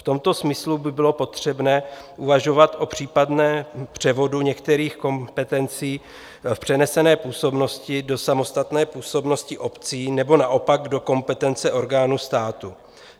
V tomto smyslu by bylo potřebné uvažovat o případném převodu některých kompetencí v přenesené působnosti do samostatné působnosti obcí nebo naopak do kompetence orgánů státu.